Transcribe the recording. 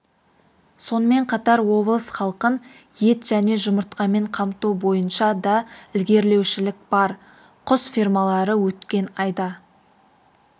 сонымен қатар облыс халқын ет және жұмыртқамен қамту бойынша да ілгерілеушілік бар құс фермалары өткен айда